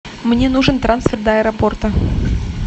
мне нужен трансфер до аэропорта